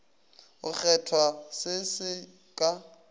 go kgethwa se se ka